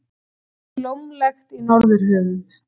Blómlegt í Norðurhöfum